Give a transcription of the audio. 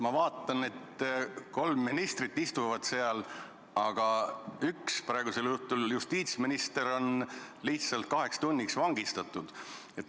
Ma vaatan, et seal istuvad kolm ministrit, aga üks, praegusel juhul justiitsminister, on lihtsalt kaheks tunniks vangistatud.